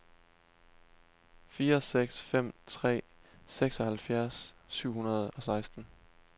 fire seks fem tre seksoghalvfjerds syv hundrede og seksten